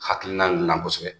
Hakilila in na kosɛbɛ.